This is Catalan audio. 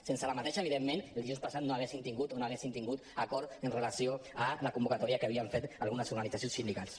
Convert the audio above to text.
sense la vaga evidentment dijous passat no haguéssim tingut o no haguessin tingut acord amb relació a la convocatòria que havien fet algunes organitzacions sindicals